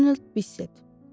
Donald Biset.